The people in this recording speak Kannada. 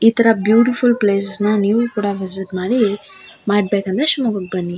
ಈ ತರ ಬ್ಯೂಟಿಫುಲ್ ಪ್ಲೇಸ್ ನ ನೀವು ಕೂಡ ವಿಸಿಟ್ ಮಾಡಿ ಮಾಡ್ಬೇಕಂದ್ರೆ ಶಿವಮೊಗ್ಗಕ್ಕೆ ಬನ್ನಿ.